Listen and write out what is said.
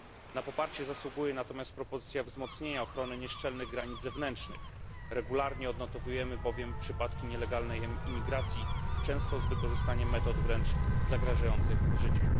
Na poparcie zasługuje natomiast propozycja wzmocnienia ochrony nieszczelnych granic zewnętrznych. Regularnie odnotowujemy bowiem przypadki nielegalnej imigracji, często z wykorzystaniem metod wręcz zagrażających życiu.